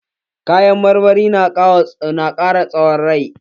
Kayan marmari na ƙara tsawon rai.